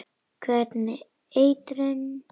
Hvernig eitrun?